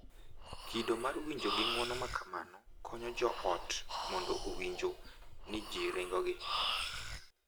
Kido mar winjo gi ng’uono ma kamano konyo jo ot mondo owinjo ni ji sirogi,